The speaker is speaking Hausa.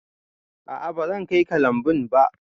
A'a bazan kai ka lambun ba.